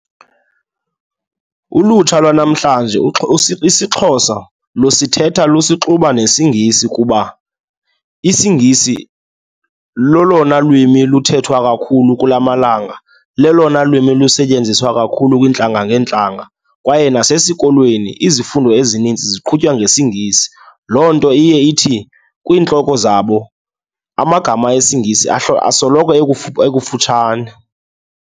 Ulutsha lwanamhlanje isiXhosa lusithetha lusixuba nesiNgisi kuba isiNgisi lelona lwimi luthethwa kakhulu kula malanga, lelona lwimi lusetyenziswa kakhulu kwiintlanga ngeentlanga kwaye nasesikolweni izifundo ezininzi ziqhutywa ngesiNgisi. Loo nto iye ithi kwiintloko zabo amagama isiNgisi asoloko ekufutshane.